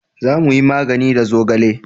za mu yi magani da zogale